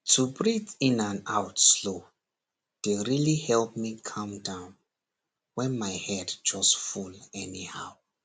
to breathe in and out slow dey really help me calm downwhen my head just full anyhow